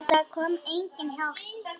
En það kom engin hjálp.